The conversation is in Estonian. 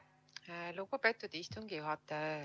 Aitäh, lugupeetud istungi juhataja!